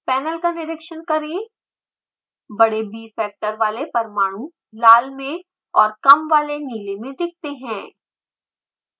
panel का निरिक्षण करें बड़े bfactor वाले परमाणु लाल में और कम वाले नीले में दिखते हैं